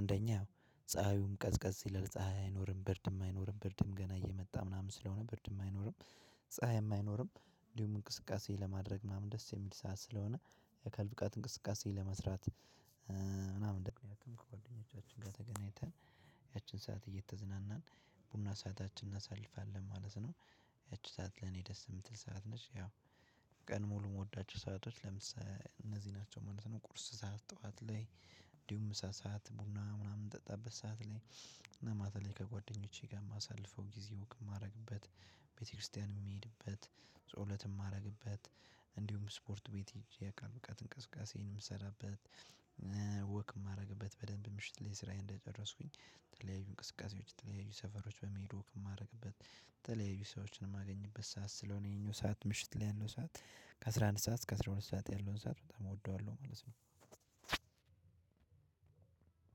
አንደኛው ፀሀዩም ቀዝቀዝ ይላል ፀሀይ አይኖርም ብርድም አይኖርም ብርድም ገና እየመጣ ምናምን ስለሆነ ብርድም አይኖርም። ፀሀይም አይኖርም እንዲሁም እንቅስቃሴ ለማድረግ ምናምን ደስ የሚል ሰዓት ስለሆነ የአካል ብቃት እንቅስቃሴ ለመስራት፣ ምናምን ምክንያቱም ከጓደኞቻችን ጋር ተገናኝተን ያችን ሰዓት እየተዝናናን ቡና ሰአታችንን እናሳልፋለን ማለት ነው። ያቺ ሰዓት ለኔ ደስ የምትል ሰዓት ነች ያው ቀን ሙሉ የምወዳቸው ሰአቶች ለምሳሌ እነዚህ ናቸው ማለት ነው። ቁርስ ሰዓት ጠዋት ላይ እንዲሁም ምሳ ሰዓት ቡና ምናምን ምጠጣበት ሰዓት ላይ እና ማታ ላይ ከጓደኞቼ ጋር የማሳልፈው ጊዜ ወክ የማደርግበት፣ ቤተክርስቲያን የምሄድበት፣ ጸሎት የማደርግበት፣ እንዲሁም ስፖርት ቤት ሂጄ የአካል ብቃት እንቅስቃሴዬን የምሰራበት ወክ የማደርግበት፣ በደንብ ምሽት ላይ ስራዬን እንደጨረስኩኝ ተለያዩ እንቅስቃሴዎች ተለያዩ ሰፈሮች በመሄድ ወክ የማደርግበት፣ ተለያዩ ሰዎችን የማገኝበት ሰዓት ስለሆነ ይሄኛው ሰዓት ምሽት ላይ ያለው ሰዓት ከአስራ ኣምድ ሰዓት እስከ አስራ ሁለት ሰዓት ያለውን ሰዓት በጣም እወደዋለሁ ማለት ነው።